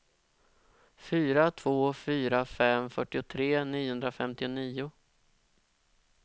fyra två fyra fem fyrtiotre niohundrafemtionio